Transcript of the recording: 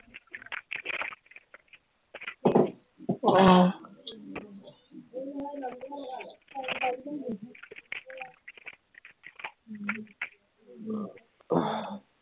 আহ